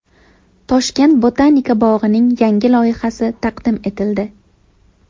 Toshkent botanika bog‘ining yangi loyihasi taqdim etildi .